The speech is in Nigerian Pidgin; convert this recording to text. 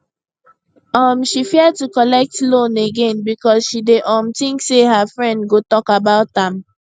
um she fear to collect loan again because she dey um think say her friends go talk about am